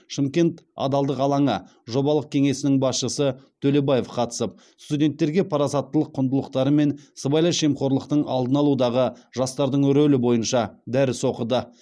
шымкент адалдық алаңы жобалық кеңсесінің басшысы төлебаев қатысып студенттерге парасаттылық құндылықтары мен сыбайлас жемқорлықтың алдын алудағы жастардың рөлі бойынша дәріс оқыды